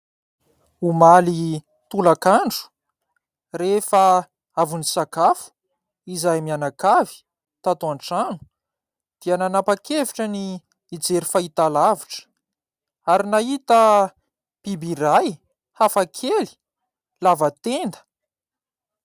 Omaly tolakandro, rehefa avy nisakafo izahay mianakavy tato an-trano dia nanapakevitra ny hijery fahitalavitra ary nahita biby iray hafakely lava tenda.